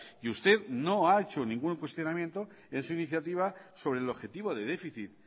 y usted no ha hecho ningún cuestionamiento en su iniciativa sobre el objetivo de déficit